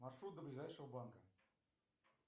маршрут до ближайшего банка